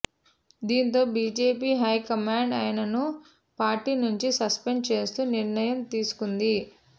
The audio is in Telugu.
దీంతో బీజేపీ హైకమాండ్ ఆయనను పార్టీ నుంచి సస్పెండ్ చేస్తూ నిర్ణయం తీసుకుంది